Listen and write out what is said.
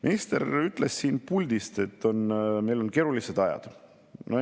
Minister ütles siit puldist, et meil on keerulised ajad.